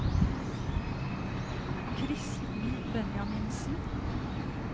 Kristen Benjaminsen